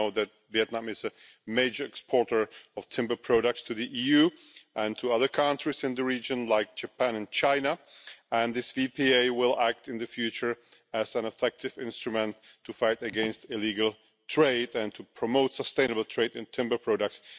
We know that Vietnam is a major exporter of timber products to the EU and to other countries in the region around Vietnam, like Japan and China, and this VPA will act in the future as an effective instrument to fight against illegal trade and to promote sustainable trade in timber products.